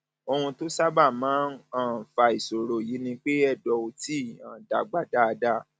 ohun tó sábà máa um ń fa ìṣòro yìí ni pé ẹdọ ò tíì um dàgbà dáadáa